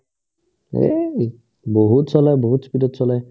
বহুত চলাই বহুত speed ত চলাই